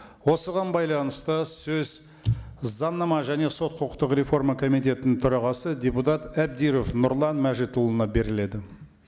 осыған байланысты сөз заңнама және сот құқықтық реформа комитетінің төрағасы депутат әбдіров нұрлан мәжітұлына беріледі